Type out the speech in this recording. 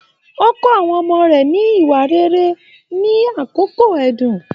O kọ àwọn ọmọ rẹ ni ìwà rere nini àkóso ẹdun.